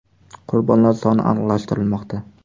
Qurbonlar soni aniqlashtirilmoqda.